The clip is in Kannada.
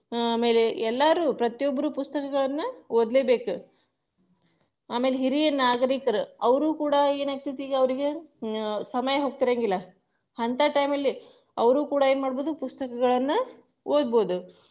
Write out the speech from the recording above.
ಆಮೇಲೆ ಎಲ್ಲರೂ ಪ್ರತಿಯೊಬ್ಬರು ಪುಸ್ತಕಗಳನ್ನ ಓದ್ಲೇಬೇಕು ಆಮೇಲೆ ಹಿರಿಯ ನಾಗರಿಕರ ಅವರು ಕೂಡ ಏನಾಗ್ತೇತಿ ಈಗ ಅವ್ರಿಗೆ ಸಮಯ ಹೋಗ್ತಿರಂಗಿಲ್ಲ, ಅಂತಾ time ಅಲ್ಲಿ ಅವರು ಕೂಡ ಏನ್ಮಾಡ್ಬೋದು ಪುಸ್ತಕಗಳನ್ನ ಒದ್ಬೋದು.